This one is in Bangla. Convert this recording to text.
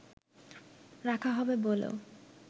রাখা হবে বলেও